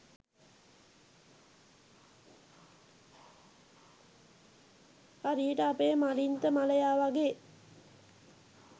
හරියට අපේ මලින්ත මලයා වගේ.